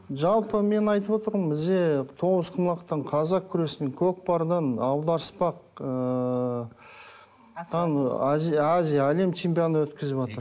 жалпы мен айтып отырмын бізде тоғызқұмалақтан қазақ күресінен көкпардан аударыспақ ыыы там азия әлем чемпионы өткізіватыр